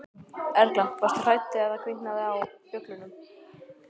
Erla: Varstu hrædd þegar það kviknaði á, á bjöllunni?